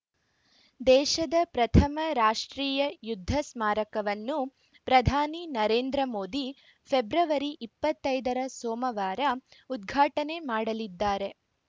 ದೇಶದ ಪ್ರಥಮ ರಾಷ್ಟ್ರೀಯ ಯುದ್ಧ ಸ್ಮಾರಕವನ್ನು ಪ್ರಧಾನಿ ನರೇಂದ್ರ ಮೋದಿ ಫೆಬ್ರವರಿ ಇಪ್ಪತ್ತೈದರ ಸೋಮವಾರ ಉದ್ಘಾಟನೆ ಮಾಡಲಿದ್ದಾರೆ